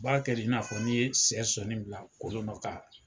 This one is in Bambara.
B'a kɛ de i na fɔ i ye sɛ sɔɔni bila kolon dɔ kan.